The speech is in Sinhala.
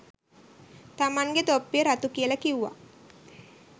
තමන්ගෙ තොප්පිය රතු කියල කිව්වා.